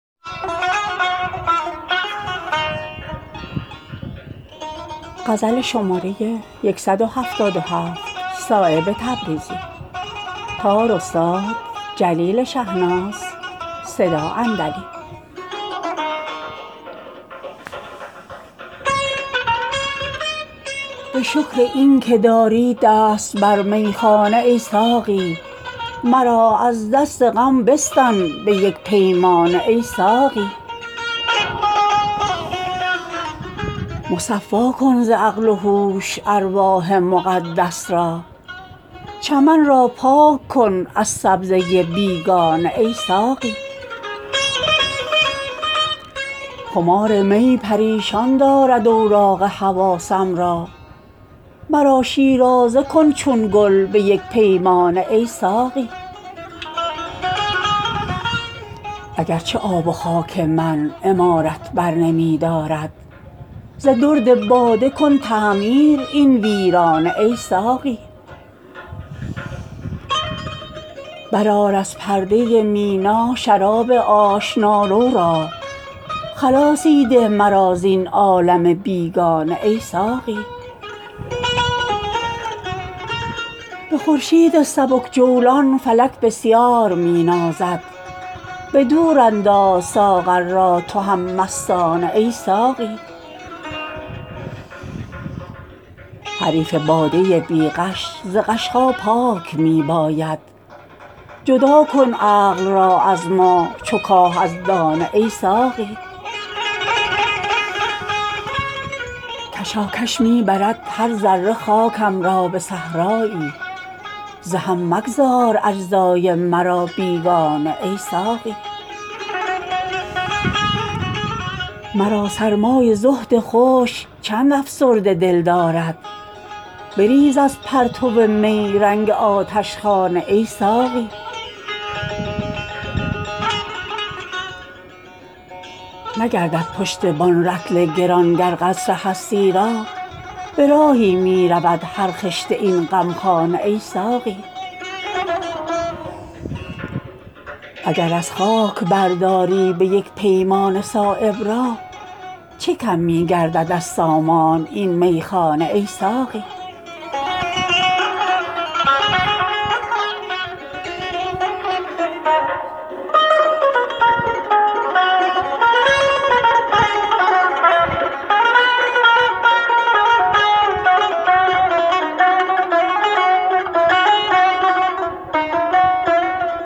به شکر این که داری دست بر میخانه ای ساقی مرا از دست غم بستان به یک پیمانه ای ساقی مصفا کن ز عقل و هوش ارواح مقدس را چمن را پاک کن از سبزه بیگانه ای ساقی خمار می پریشان دارد اوراق حواسم را مرا شیرازه کن چون گل به یک پیمانه ای ساقی اگر چه آب و خاک من عمارت برنمی دارد ز درد باده کن تعمیر این ویرانه ای ساقی یک امشب ساغر اندازه را بر طاق نسیان نه که دارم آرزوی گریه مستانه ای ساقی برآر از پرده مینا شراب آشنارو را خلاصی ده مرا زین عالم بیگانه ای ساقی به خورشید سبک جولان فلک بسیار می نازد به دورانداز ساغر را تو هم مستانه ای ساقی حریف باده بیغش ز غش ها پاک می باید جدا کن عقل را از ما چو کاه از دانه ای ساقی به چرخ آور مرا چون شعله جواله از مستی که می خواهم کنم خون در دل پروانه ای ساقی کشاکش می برد هر ذره خاکم را به صحرایی ز هم مگذار اجزای مرا بیگانه ای ساقی مرا سرمای زهد خشک چند افسرده دل دارد بریز از پرتو می رنگ آتشخانه ای ساقی نگردد پشتبان رطل گران گر قصر هستی را به راهی می رود هر خشت این غمخانه ای ساقی اگر از خاک برداری به یک پیمانه صایب را چه کم می گردد از سامان این میخانه ای ساقی